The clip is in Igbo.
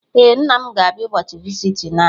Ee, nna m ga abịa ụbọchị visiting anyị